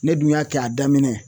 Ne dun y'a kɛ a daminɛ